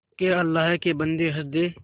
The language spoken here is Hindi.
के अल्लाह के बन्दे हंस दे